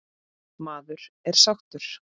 Maður er sáttur.